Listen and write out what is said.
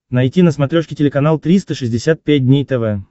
найти на смотрешке телеканал триста шестьдесят пять дней тв